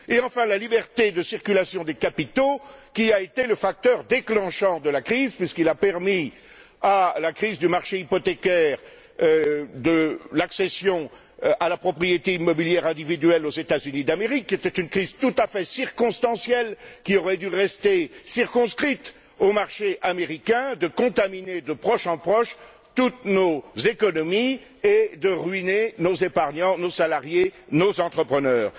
Et enfin, la liberté de circulation des capitaux, qui a été le facteur déclenchant de la crise, puisqu'il a permis à la crise du marché hypothécaire de l'accession à la propriété immobilière individuelle aux États Unis d'Amérique qui était une crise tout à fait circonstancielle, qui aurait dû rester circonscrite au marché américain de contaminer de proche en proche toutes nos économies et de ruiner nos épargnants, nos salariés, nos entrepreneurs.